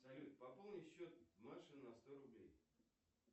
салют пополни счет маши на сто рублей